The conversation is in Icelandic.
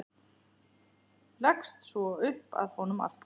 Leggst svo upp að honum aftur.